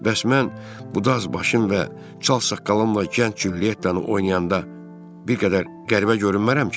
Bəs mən bu daz başım və çal saqqalımla gənc Culyettanı oynayanda bir qədər qəribə görünmərəm ki?